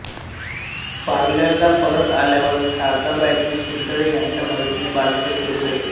पार्ल्याला परत आल्यावर शारदाबाईंनी चितळे ह्यांच्या मदतीने बालमंदिर सुरू केले